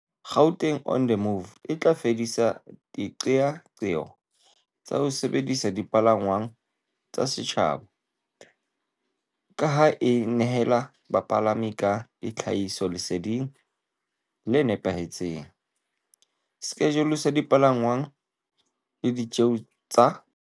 Gauteng on the Move e tla fedisa diqeaqeo tsa ho sebedisa dipalangwang tsa setjhaba, ka ha e nehela bapalami ka tlhahisoleseding le nepahetseng, skejule sa dipalangwang le di tjeo tsa